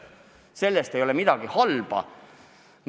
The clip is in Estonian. Selles ei ole midagi halba.